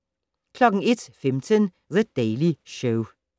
01:15: The Daily Show